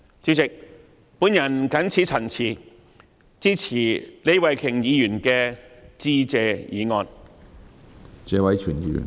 主席，我謹此陳辭，支持李慧琼議員的致謝議案。